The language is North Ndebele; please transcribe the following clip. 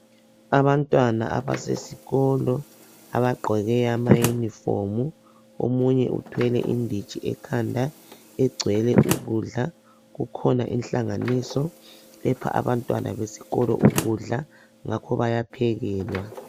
Abantwana abasesikolo abagqoke amaunifomu omunye uthwele inditshi ekhanda egcwele ukudla kukhona inhlanganiso epha abantwana besikolo ukudla ngakho bayaphekelwa.